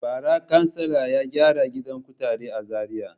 Bara kansila ya gyara gidan kutare a Zariya.